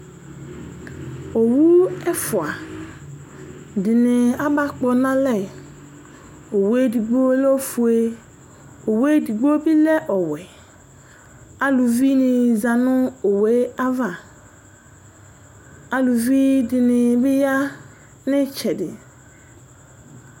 Owu ɛfʋa ɖìŋí ama kpɔnʋ alɛ Owue ɛɖigbo lɛ ɔƒʋe Owue ɛɖigbo bi lɛ ɔwɛ Aluviŋi zaŋu owue ava Aluviɖìŋí bi ɣa ŋu itsɛɖi